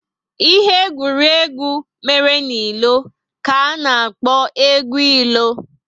Ihe egwuregwu mere n'ilo ka a na-akpo egwu ilo